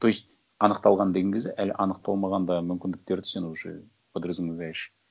то есть анықталған деген кезде әлі анықталмаған да мүмкіндіктерді сен уже подразумеваешь